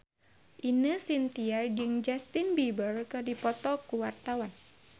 Ine Shintya jeung Justin Beiber keur dipoto ku wartawan